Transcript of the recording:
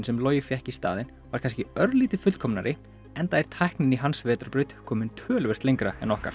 sem Logi fékk í staðinn var kannski örlítið fullkomnari enda er tæknin í hans vetrarbraut komin töluvert lengra en okkar